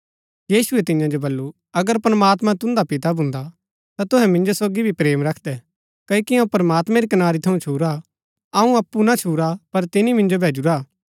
यीशुऐ तियां जो वलु अगर प्रमात्मां तून्दा पिता भून्दा ता तूहै मिन्जो सोगी भी प्रेम रखदै क्ओकि अऊँ प्रमात्मैं री कनारी थऊँ छुरा अऊँ अप्पु ना छुरा पर तिनी मिन्जो भैजूरा हा